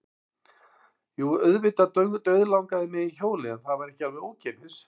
Jú, auðvitað dauðlangaði mig í hjólið en það var ekki alveg ókeypis.